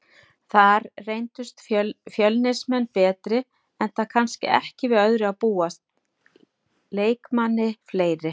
Þar reyndust Fjölnismenn betri enda kannski ekki við öðru að búast, leikmanni fleiri.